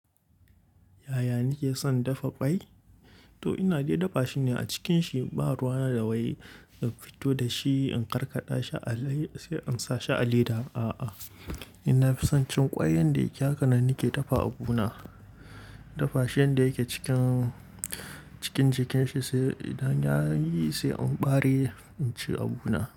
Yaya nike son dafa kwai? To ina dai dafa shi ne a cikinshi, baruwa na da wai in fito da shi in karkada shi a lay sai in sa shi a leda, a'a. Ina fi son cin ƙwai yanda yake hakanan nake dafa abu na. Dafa shi yanda yake cikin jikin shi sai idan ya yi sai in ɓare in ci abu na.